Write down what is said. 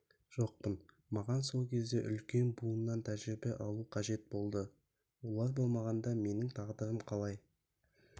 жоқпын маған сол кезде үлкен буыннан тәжірибе алу қажет болды олар болмағанда менің тағдырым қалай